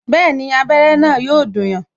Bẹẹni, abere na yo dùn yan